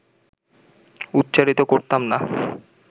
উচ্চারিত করতাম না